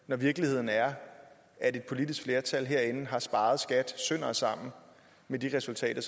når virkeligheden er at et politisk flertal herinde har sparet skat sønder og sammen med de resultater